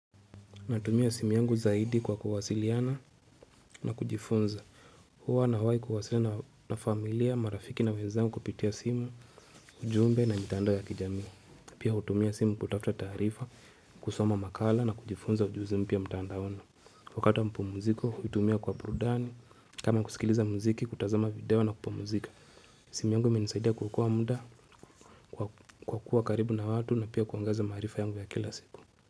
Natumia simu yangu zaidi kwa kuwasiliana na kujifunza. Huwa na hawai kuwasiliana na familia, marafiki na wezangu kupitia simu, ujumbe na mitandao ya kijamii. Pia hutumia simu kutafuta taarifa, kusoma makala na kujifunza ujuzimpya mtandaoni. Wakata wa mapumziko, hutumia kwa burudani, kama kusikiliza muziki, kutazama video na kupumzika. Simi yangu imenisaidia kuokoa muda, kwa kuwa karibu na watu na pia kuongeza maarifa yangu ya kila siku.